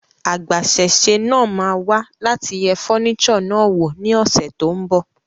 Agbasẹ́sé náà máa wá láti yẹ furniture náà wò ní ọ́sẹ́ tón bò